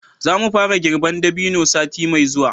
za mu fara girban dabino sati mai zuwa